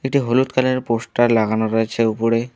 একটি হলুদ কালার -এর পোস্টার লাগানো রয়েছে উপরে।